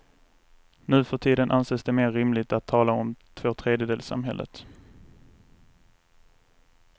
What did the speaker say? Nuförtiden anses det mer rimligt att tala om tvåtredjedelssamhället.